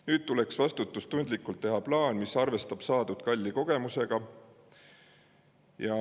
Nüüd tuleks vastutustundlikult teha plaan, mis arvestab saadud kalli kogemusega.